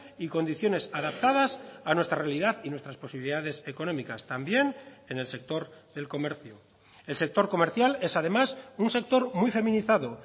y condiciones adaptadas a nuestra realidad y nuestras posibilidades económicas también en el sector del comercio el sector comercial es además un sector muy feminizado